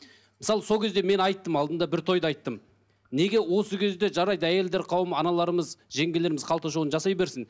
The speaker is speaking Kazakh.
мысалы сол кезде мен айттым алдында бір тойда айттым неге осы кезде жарайды әйелдер қауымы аналарымыз жеңгелеріміз қалта шоуын жасай берсін